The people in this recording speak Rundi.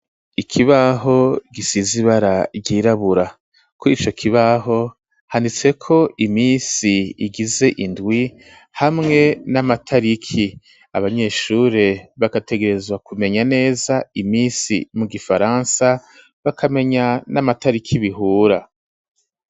Ikibaho gisize ibara ryirabura kurico kibaho handitse ko imisi igize indwi hamwe n'amatariki abanyeshure bagategerezwa kumenya neza imisi mu gifaransa bakamenya n'amatariki bihura.